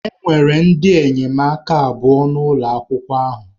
Enwere ndị enyemaka abụọ n'ụlọ akwụkwọ ahụ.